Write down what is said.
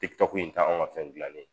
Tiktok in ta anw ŋa fɛn dilannen